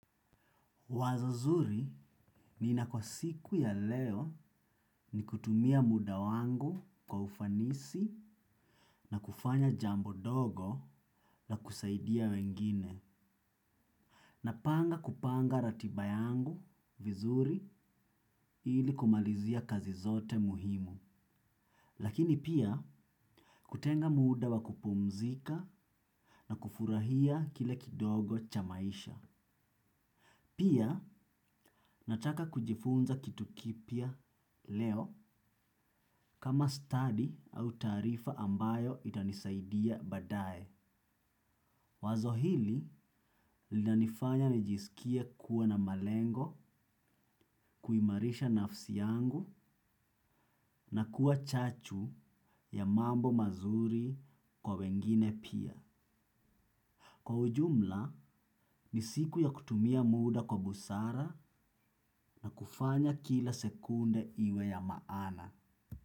Wazo zuri, nina kwa siku ya leo ni kutumia muda wangu kwa ufanisi na kufanya jambo dogo na kusaidia wengine. Napanga kupanga ratiba yangu vizuri ili kumalizia kazi zote muhimu. Lakini pia, kutenga muda wa kupumzika na kufurahia kile kidogo cha maisha. Pia, nataka kujifunza kitu kipya leo kama study au taarifa ambayo itanisaidia baadaye. Wazo hili, linanifanya nijisikie kuwa na malengo, kuimarisha nafsi yangu na kuwa chachu ya mambo mazuri kwa wengine pia. Kwa ujumla, ni siku ya kutumia muda kwa busara na kufanya kila sekunde iwe ya maana.